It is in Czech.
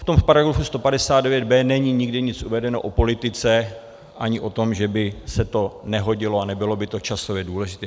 V tom paragrafu 159b není nikdy nic uvedeno o politice ani o tom, že by se to nehodilo a nebylo by to časově důležité.